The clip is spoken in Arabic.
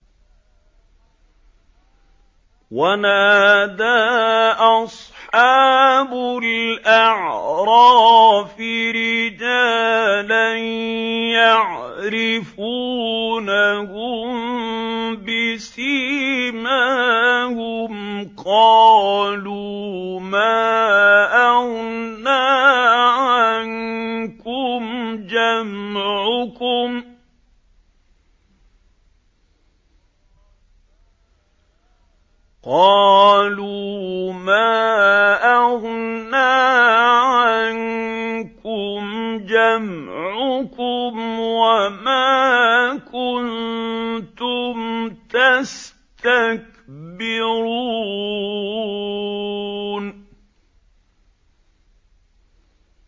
وَنَادَىٰ أَصْحَابُ الْأَعْرَافِ رِجَالًا يَعْرِفُونَهُم بِسِيمَاهُمْ قَالُوا مَا أَغْنَىٰ عَنكُمْ جَمْعُكُمْ وَمَا كُنتُمْ تَسْتَكْبِرُونَ